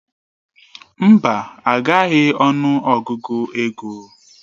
Mba, agaghị ọnụ Ọgụgụ ego.